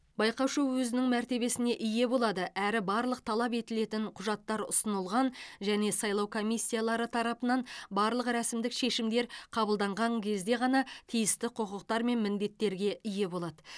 байқаушы өзінің мәртебесіне ие болады әрі барлық талап етілетін құжаттар ұсынылған және сайлау комиссиялары тарапынан барлық рәсімдік шешімдер қабылданған кезде ғана тиісті құқықтар мен міндеттерге ие болады